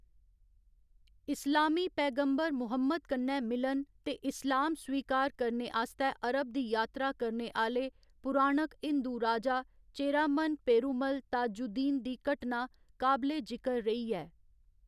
इस्लामी पैगम्बर मुहम्मद कन्नै मिलन ते इस्लाम स्वीकार करने आस्तै अरब दी यात्रा करने आह्‌‌‌ले पुराणक हिंदू राजा चेरामन पेरुमल ताजुद्दीन दी घटना काबले जिकर रेही ऐ।